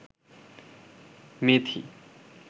মেথি